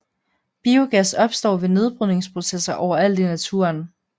Biogas opstår ved nedbrydningsprocesser overalt i naturen